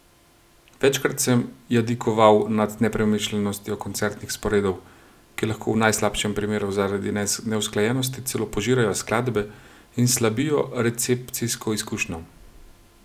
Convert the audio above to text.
Večkrat sem jadikoval nad nepremišljenostjo koncertnih sporedov, ki lahko v najslabšem primeru zaradi neusklajenosti celo požirajo skladbe in slabijo recepcijsko izkušnjo.